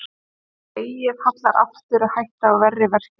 Ef legið hallar aftur er hætta á verri verkjum.